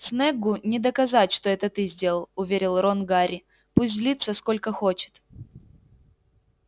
снеггу не доказать что это ты сделал уверил рон гарри пусть злится сколько хочет